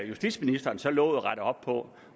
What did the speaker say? justitsministeren så lovet at rette op på